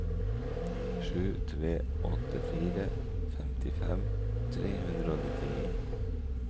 sju tre åtte fire femtifem tre hundre og nittini